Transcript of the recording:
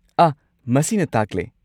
ꯑꯥꯍ, ꯃꯁꯤꯅ ꯇꯥꯛꯂꯦ꯫